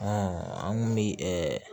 an kun bi